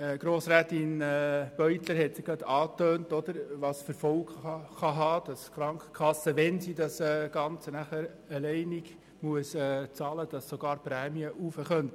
Grossrätin Beutler hat soeben gezeigt, welche Folgen das haben kann, nämlich dass sogar die Prämien erhöht werden könnten, wenn die Krankenkasse das Ganze dann alleine bezahlen muss.